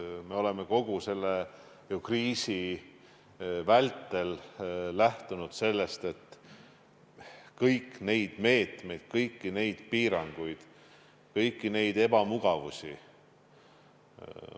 Me oleme ju kogu selle kriisi vältel lähtunud sellest, et me säilitame kõiki neid meetmeid, piiranguid ja ebamugavusi.